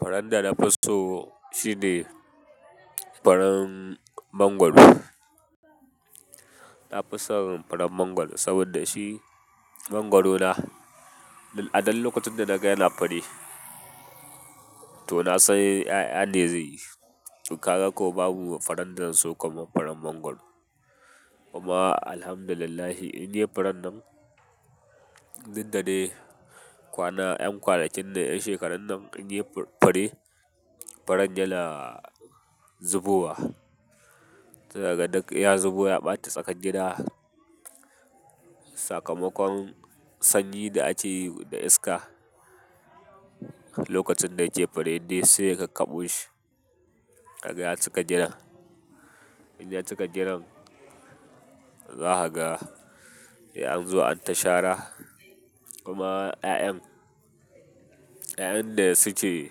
Faran dana fi so shine faran mangwaro. Nafi son faran mangwaro saboda shi mangwaro na. A dan lokacin da naga yana fare to na san ƴaƴane zai yi. Kaga kuwa babu faren da zanso kamar faren mangwaro. Kuma alhamdulillah, inde furen nan, dukda kwana, ƴan kwanakin nan, ƴan shekararun nan inde fure, faren yana zubowa. Sia kaga duk ya zubo ya bata tsakar gida. Sakamakon sanyi da ake yi da iska lokacin da yake fure, duk saiya kakkabo shi, kaga ya cika gidan. In ya cika gidan, zakaga sai anzo an tashara. Kuma ƴaƴan, ƴaƴan da suke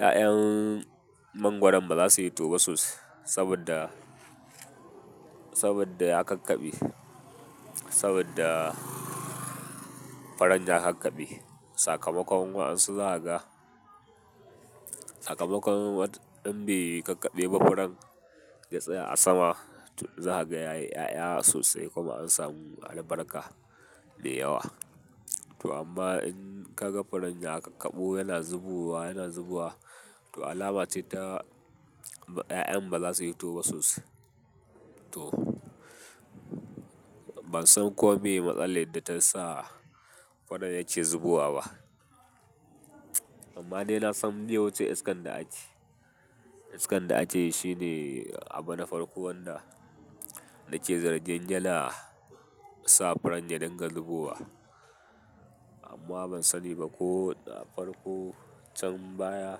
ƴaƴan mangwaron baza su hito ba sosai saboda, saboda ya kakkabe, saboda faran ya kakkabe. Sakamakon waƴansun zakaga, sakamakon wadda in bai kakkabe ba furan ya tsaya a sama, to zakaga yayi ƴaƴa sosai kuma an samu albarka da yawa. To amma in ka ga faren ya kakkabu yana zubowa, yana zubowa, to alama ce ta 'ya'yan ba za su yi hitoba sosai. To ban san ko me matsalar da ta sa firen ya ke zubowa ba. Amma dai na san bai wuce iskan da ake, iskan da ake yi shine abu na farko wanda na ke zargin yana sa furan ya dinga zubowa. Amma ban sani ba ko na farko can baya.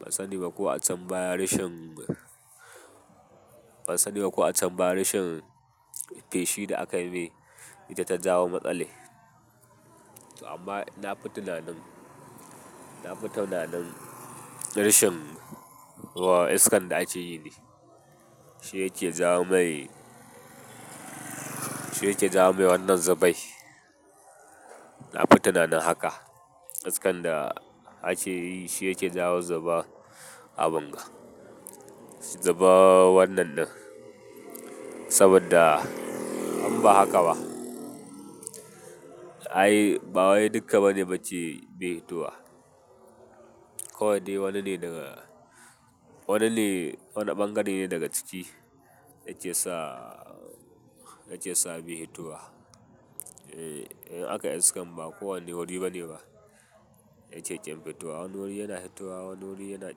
Ban sani ba ko a can baya reshen, ban sani ba ko a can baya reshen feshin da aka yi ne ita ta jawo matsali. To amma na fi tunanin, na fi tunanin rishin iskan da aka yi ne shi yake jawo mai, shi yake jawo mai wannan zubai. Na fi tunanin haka. Iskan da aka yi shi yake jawo zuba a bunga. Zuba wannan ɗin. Saboda in ba haka ba. Ai, ba wai duka bani bacci bai hittowa. Kowai dai wani ne daga, wani ne, wani bangare ne daga ciki yake sa, yake sa bai yi towa. Eh, in aka iskan ba kowanne wuri bane ba yake ƙin fito wa. Wani wuri yana yi hitowa, wani wuri yana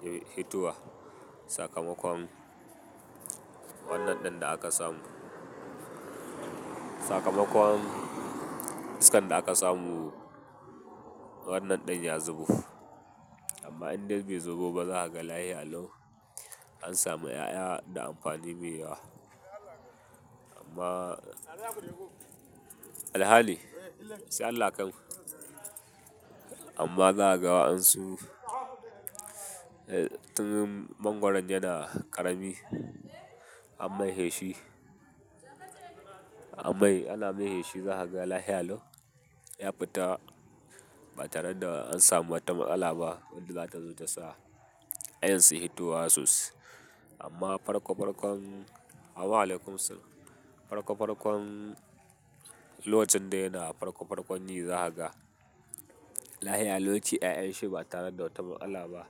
kin hitowa. Sakamakon wannan ɗin da aka samu. Sakamakon iskan da aka samu wannan ɗin ya zubo amma indai bai zubo ba zakaga lahiya lau an samu yaya da amfani mai yawa amma, alhali sai allah ya kaimu. Amma zakaga wayen su tun mangwaron yana ƙarami an mai heshi, an mai, ana mai heshi zakaga lahilau. Ya fi ta ba tare da an samu wata matsala ba wadda za ta zo ta sa 'ya'yan su yi tuhwa sosai. Amma farko farkon, amin alaikumu salam farko farkon lokacin da yana farko farkon yi zakaga lahiyalau ce 'ya'yan shi ba tare da wata matsala ba.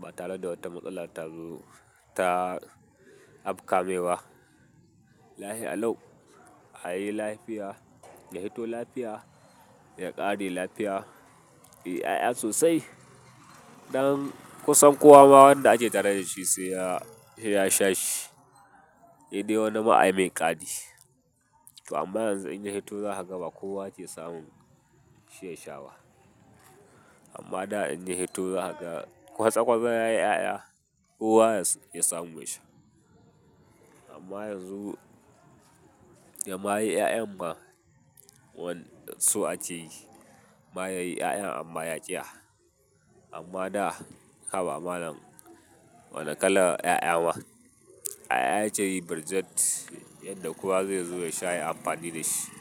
Ba tare da wata matsala ta zo ta afka me wa. Lahiyalau a yi lafiya, ya hito lafiya, ya ƙare lafiya. 'Ya'yan sosai. Ɗan kusan kowa ma wanda ake tare da shi sai ya, sai ya sha shi. Sai dai wanima amai kari to amma yanzu in ya hito zakaga ba kowa ke samun shi ya shawa. Amma da in ya hito zakaga kwatsa kwatsa yayi 'ya'ya kowa ke samun shi. Amma yanzu, ya ma yi 'ya'yan ma wani so ake yi. Ma yayi 'ya'yan amma ya ƙiya. Amma da haba malam wane kalan 'ya'ya ma. 'Ya'ya yake yi burzat yadda kowa zai zo ya sha ya yi amfani da shi.